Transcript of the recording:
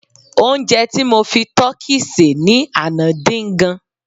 onje ti mo fi tọki se ni Ana din gan